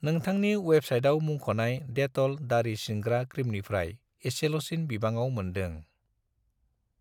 नोंथांनि वेबसाइटआव मुंख'नाय डेट'ल दारि सिनग्रा क्रिमनिफ्राय इसेल'सिन बिबाङाव मोनदों।